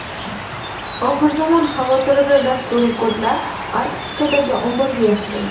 Oxirzamon xavotirida dasturiy kodlar Arktikadagi omborga yashirildi.